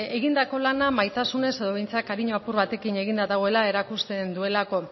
egindako lana maitasunez edo behintzat kariño apur batekin eginda dagoela erakusten duelako